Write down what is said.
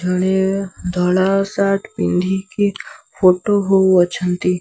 ଜଣେ ଧଳା ସାର୍ଟ ପିନ୍ଧିକି ଫଟୋ ହଉ ଅଛନ୍ତି।